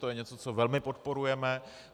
To je něco, co velmi podporujeme.